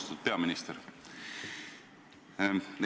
Austatud peaminister!